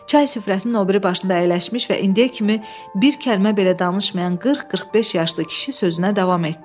Çay süfrəsinin o biri başında əyləşmiş və indiyə kimi bir kəlmə belə danışmayan 40-45 yaşlı kişi sözünə davam etdi.